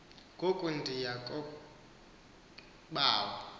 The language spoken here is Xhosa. ngoku ndiya kobawo